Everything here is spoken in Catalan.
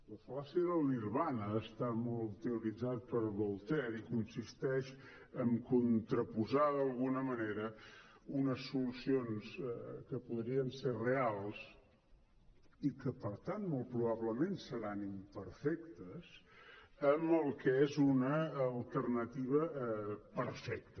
la fal·làcia del nirvana va estar molt teoritzada per voltaire i consisteix en contraposar d’alguna manera unes solucions que podrien ser reals i que per tant molt probablement seran imperfectes amb el que és una alternativa perfecta